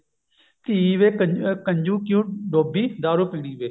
ਧੀ ਵੀ ਕ ਅਮ ਕਿਉ ਡੋਬੀ ਦਾਰੂ ਪੀਣੀ ਵੇ